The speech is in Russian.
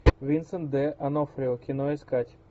винсент д онофрио кино искать